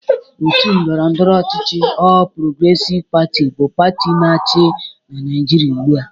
Otu ndọrọndọrọ ochịchị ọl Progresiv Pati bụ pati na-achị n'Naịjịrịa ugbụ a.